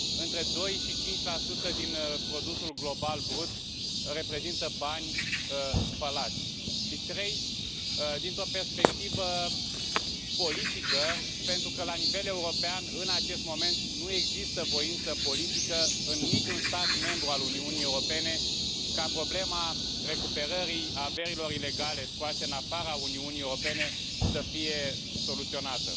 Între 2 și 5 din produsul global brut reprezintă bani spălați. Și trei, dintr o perspectivă politică pentru că la nivel european, în acest moment, nu există voință politică în niciun stat membru al Uniunii Europene ca problema recuperării averilor ilegale scoase în afara Uniunii Europene să fie soluționată.